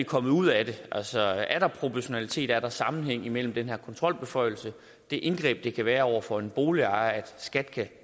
kommet ud af det altså er der proportionalitet er der sammenhæng mellem den her kontrolbeføjelse og det indgreb som det kan være over for en boligejer at skat kan